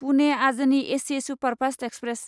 पुने आजनि AC superfast express